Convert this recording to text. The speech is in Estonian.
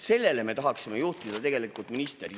Sellele me tahaksime juhtida ministri tähelepanu.